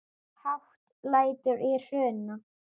Hátt lætur í Hruna